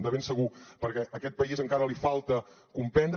de ben segur perquè a aquest país encara li falta comprendre